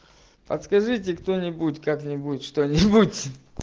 подскажите кто-нибудь как-нибудь что-нибудь